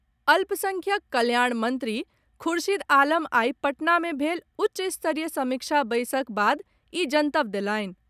अल्पसंख्यक कल्याण मंत्री खुर्शीद आलम आइ पटना मे भेल उच्च स्तरीय समीक्षा बैसक बाद ई जनतब देलनि।